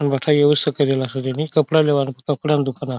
कपड़ा लेवा न कपड़ा दुकान --